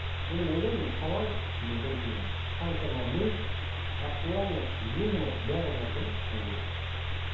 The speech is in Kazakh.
бұны ойлаймын мен талант бұл біріншіден қаншама ми актуальность юмор бәрі бар да шыны керек